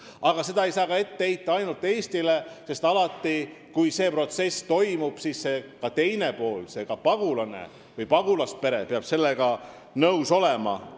Aga seda ei saa ainult Eestile ette heita, sest alati on selles protsessis ka teine pool – ka see pagulane või pagulaspere peab sellega nõus olema.